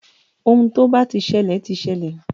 Ohun tó bá ti ṣẹlẹ̀ ti ṣẹlẹ̀.